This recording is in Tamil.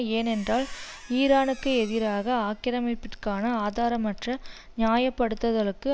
ஏனென்றால் ஈரானுக்கு எதிராக ஆக்கிரமிப்பிற்கான ஆதாரமற்ற நியாயப்படுத்துதலுக்கு